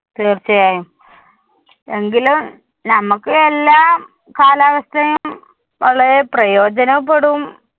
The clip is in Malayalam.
തീര്‍ച്ചയായും എങ്കിലും നമുക്ക് എല്ലാ കാലാവസ്ഥയും വളരെ പ്രയോജനപ്പെടും.